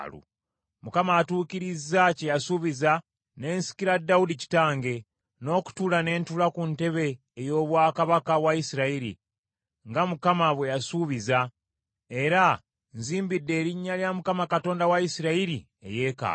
“ Mukama atuukirizza kye yasuubiza, ne nsikira Dawudi kitange, n’okutuula ne ntuula ku ntebe ey’obwakabaka bwa Isirayiri, nga Mukama bwe yasuubiza, era nzimbidde erinnya lya Mukama Katonda wa Isirayiri eyeekaalu.